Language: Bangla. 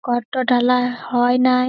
গর্ত ঢালাই হয় নাই --